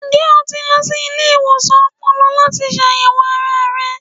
Njẹ o ti lọ si ile-iwosan ọpọlọ lati ṣayẹwo ara rẹ bi?